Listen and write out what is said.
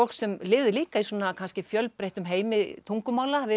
sem lifði líka í fjölbreyttum heimi tungumála við